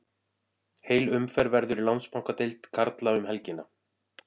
Heil umferð verður í Landsbankadeild karla um helgina.